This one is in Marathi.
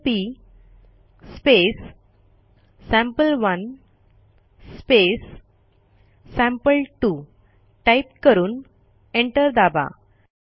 सीएमपी सॅम्पल1 सॅम्पल2 टाईप करून एंटर दाबा